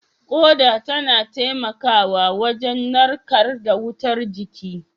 Ƙoda tana taimakawa wajen narkar da wutar jiki